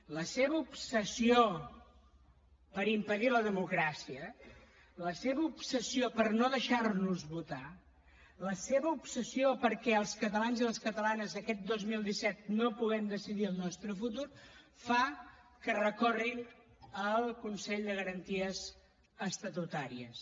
la seva obsessió per impedir la democràcia la seva obsessió per no deixar nos votar la seva obsessió perquè els catalans i les catalanes aquest dos mil disset no puguem decidir el nostre futur fa que recorrin al consell de garanties estatutàries